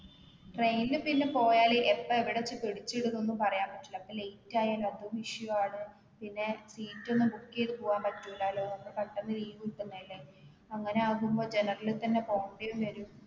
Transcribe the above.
train ൽ പിന്നെ പോയാല് എപ്പോ എവിടെത്തി പിടിച്ചിടുന്നൊന്നും പറയാൻ പറ്റില്ല അപ്പൊ late ആയാൽ അതും issue ആണ് പിന്നെ seat ഒന്നും book എയ്ത് പോവാൻ പറ്റൂലാലോ ഒന്ന്‌ പെട്ടെന്ന് leave കിട്ടുന്നതല്ലേ അങ്ങനെ ആകുമ്പോ general തന്നെ പോകണ്ടിയും വരും